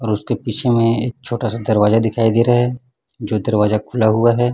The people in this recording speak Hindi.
और उसके पीछे में एक छोटा सा दरवाजा दिखाई दे रहा है जो दरवाजा खुला हुआ है।